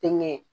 Tɛŋɛ